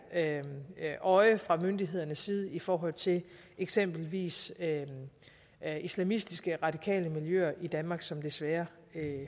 øje fra myndighedernes side i forhold til eksempelvis islamistiske radikale miljøer i danmark som desværre